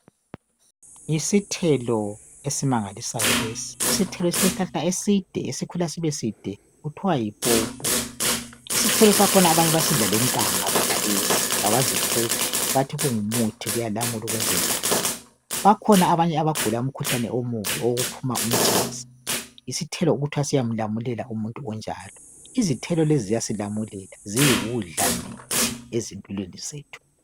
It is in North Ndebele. Yisithelo esimangalisayo lesi , isithelo esileshlahla eside esikhula sube side okuthwa yipopo , isithelo sakhona abanye basidla lentanga sonalesi kabazikhuphi bathi kungumuthi kuyalamula ukwenzanjalo , bakhona abanye abagula umkhuhlane owukuphuma umtshaze , yisithelo okuthwa siyamlamulela umuntu onjalon, izithelo lezi ziyasilamulela ziyikudla mithi ezimpilweni zethu